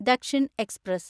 Dakshin express